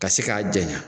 Ka se k'a janya